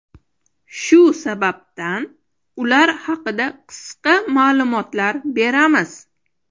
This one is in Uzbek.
Shu sababdan ular haqida qisqa ma’lumotlar beramiz.